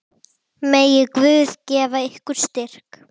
Megi Guð gefa ykkur styrk.